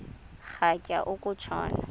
rhatya uku tshona